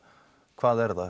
hvað er það